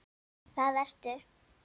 Það ertu.